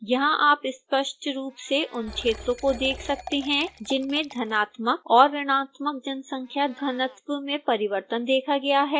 यहां आप स्पष्ट रूप से उन क्षेत्रों को देख सकते हैं जिनमें धनात्मक और ऋणात्मक जनसंख्या घनत्व में परिवर्तन देखा गया है